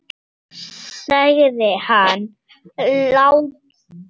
Gera þeir, sem heyi hlaða.